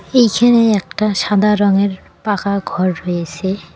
এখানে একটা সাদা রঙের পাকা ঘর রয়েছে।